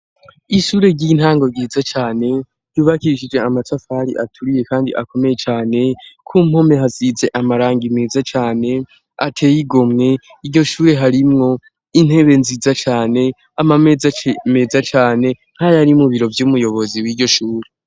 Ishure ry'intango ryiza cane yubakishije amatafari aturiye kandi akomeye cane k'umpome hasize amarangi meza cane ateye igomwe iryo shure harimwo intebe nziza cane amameza meza cane nkayari mu biro vy'umuyobozi w'iyo shuri.